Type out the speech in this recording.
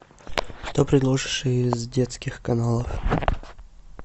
что предложишь из детских каналов